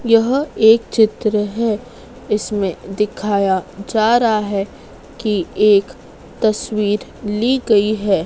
यह एक चित्र है इसमें दिखाया जा रहा है कि एक तस्वीर ली गई है।